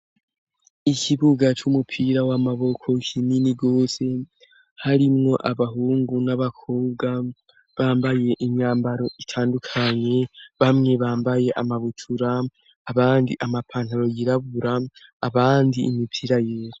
Ikibuga cy'umupira w'amaboko kinini gose harimwo abahungu n'abakobwa bambaye imyambaro itandukanye bamwe bambaye amabutura abandi amapantaro yirabura abandi imipira yera.